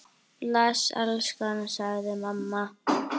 Bless elskan! sagði mamma.